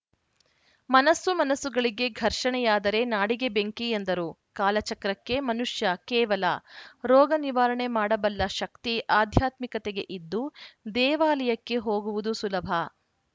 ಮನಸ್ಸು ಮನಸ್ಸುಗಳಿಗೆ ಘರ್ಷಣೆಯಾದರೆ ನಾಡಿಗೆ ಬೆಂಕಿ ಎಂದರು ಕಾಲಚಕ್ರಕ್ಕೆ ಮನುಷ್ಯ ಕೇವಲ ರೋಗ ನಿವಾರಣೆ ಮಾಡಬಲ್ಲ ಶಕ್ತಿ ಆಧ್ಯಾತ್ಮಿಕತೆಗೆ ಇದ್ದು ದೇವಾಲಯಕ್ಕೆ ಹೋಗುವುದು ಸುಲಭ